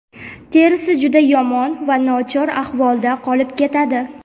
terisi juda yomon va nochor ahvolda qolib ketadi.